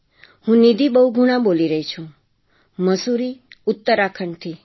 હું નિધિ બહુગુણા બોલી રહી છું મસૂરી ઉત્તરાખંડથી